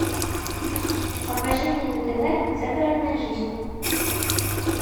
покажи мне на тв загородная жизнь